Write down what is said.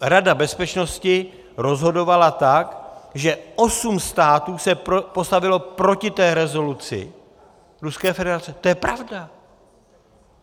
Rada bezpečnosti rozhodovala tak, že osm států se postavilo proti té rezoluci Ruské federace, to je pravda.